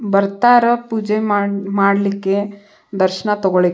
ಬರ್ತಾರ ಪೂಜೆ ಮಾಡ್ ಮಾಡ್ಲಿಕ್ಕೆ ದರ್ಶನ ತಗೋಳಿಕ್ --